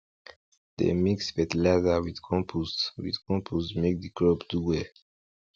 dem mix fertilizer with compost with compost make di crop do well